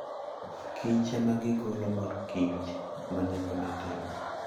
Kichema gigolo mor kich ma nengone tek.